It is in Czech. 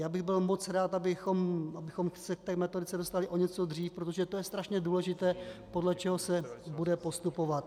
Já bych byl moc rád, abychom se k té metodice dostali o něco dřív, protože to je strašně důležité, podle čeho se bude postupovat.